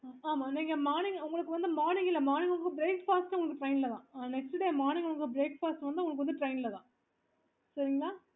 okay